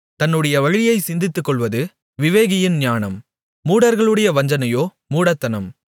தன்னுடைய வழியைச் சிந்தித்துக்கொள்வது விவேகியின் ஞானம் மூடர்களுடைய வஞ்சனையோ மூடத்தனம்